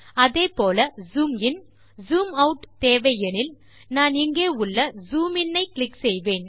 அதே போல zoom in zoom out தேவை எனில் நான் இங்கே உள்ள ஜூம் இன் ஐ கிளிக் செய்வேன்